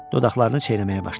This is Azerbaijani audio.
Dodaqlarını çeynəməyə başladı.